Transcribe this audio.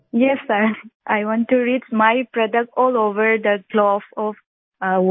Vijayashanti ji yes sir I want to reach my product all over the globe of all world